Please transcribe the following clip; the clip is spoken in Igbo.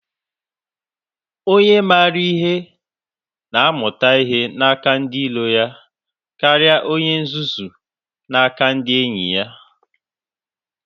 Onye maara ihe na-amụta ihe n'aka ndị iro ya karịa onye nzuzu n'aka ndị enyi ya.